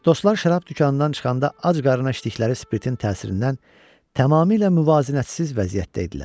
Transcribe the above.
Dostlar şərab dükanından çıxanda ac qarnına içdikləri spirtin təsirindən tamamilə müvazinətsiz vəziyyətdə idilər.